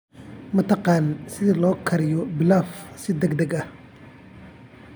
Ma taqaan sida loo kariyo pilaf si degdeg ah?